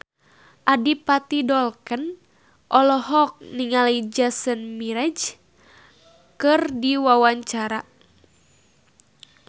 Adipati Dolken olohok ningali Jason Mraz keur diwawancara